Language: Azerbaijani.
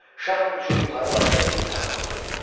Şah üçün yuxarı başda iri taxt qoyuldu.